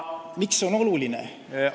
Miks see on oluline?